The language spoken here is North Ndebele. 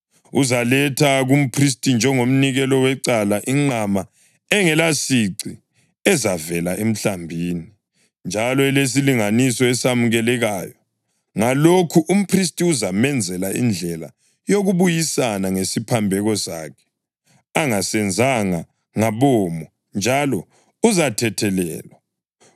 Uzaletha kumphristi njengomnikelo wecala inqama engelasici ezavela emhlambini, njalo elesilinganiso esamukelekayo. Ngalokhu umphristi uzamenzela indlela yokubuyisana ngesiphambeko sakhe angasenzanga ngabomo, njalo uzathethelelwa.